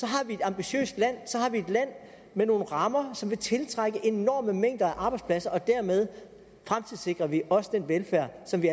har vi et ambitiøst land så har vi et land med nogle rammer som vil tiltrække enorme mængder af arbejdspladser og dermed fremtidssikrer vi også den velfærd som vi